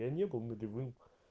я не был нулевым